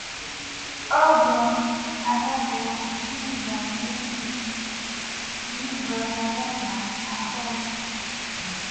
oh bros abeg oh jesus wetin be dis dis bros abeg na abeg